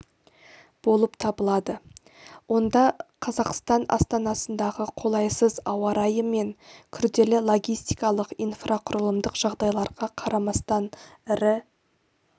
болып табылады онда қазақстан астанасындағы қолайсыз ауа райы мен күрделі логистикалық инфрақұрылымдық жағдайларға қарамастан ірі